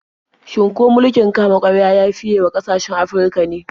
Shin ko mulkin kama-karya ya fiye wa ƙasashen Afirka ne?